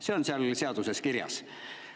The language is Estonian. See on seaduses kirjas.